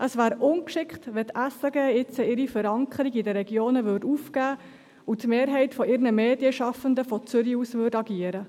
Es wäre ungeschickt, wenn die SRG jetzt ihre Verankerung in den Regionen aufgäbe und die Mehrheit ihrer Medienschaffenden von Zürich aus agierte.